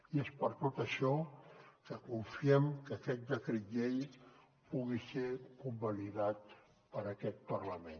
i és per tot això que confiem que aquest decret llei pugui ser convalidat per aquest parlament